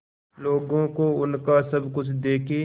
लोगों को उनका सब कुछ देके